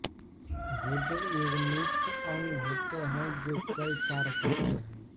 गुर्दे युग्मित अंग होते हैं जो कई कार्य करते हैं